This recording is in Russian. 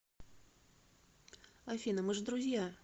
афина мы же друзья